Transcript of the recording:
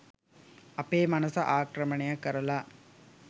අපේ මනස ආක්‍රමණය කරලා